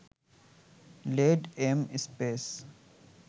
lead, M, space